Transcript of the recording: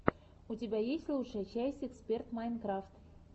у тебя есть лучшая часть эксперт майнкрафт